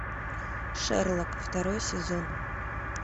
шерлок второй сезон